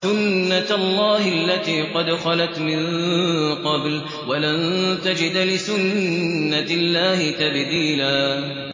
سُنَّةَ اللَّهِ الَّتِي قَدْ خَلَتْ مِن قَبْلُ ۖ وَلَن تَجِدَ لِسُنَّةِ اللَّهِ تَبْدِيلًا